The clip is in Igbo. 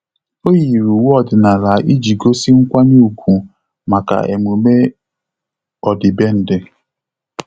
Ọ́ yìrì uwe ọ́dị́nála iji gósí nkwanye ùgwù màkà emume ọ́dị́bèndị̀.